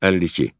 52.